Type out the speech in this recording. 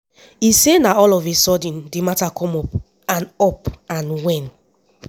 e say na all of a sudden di mata come up and up and wen